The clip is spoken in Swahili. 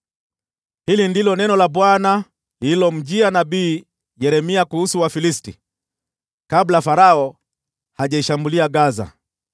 Hili ndilo neno la Bwana lililomjia nabii Yeremia kuhusu Wafilisti, kabla Farao hajaishambulia Gaza: